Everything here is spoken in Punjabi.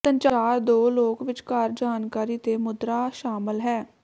ਸੰਚਾਰ ਦੋ ਲੋਕ ਵਿਚਕਾਰ ਜਾਣਕਾਰੀ ਦੇ ਮੁਦਰਾ ਸ਼ਾਮਲ ਹੈ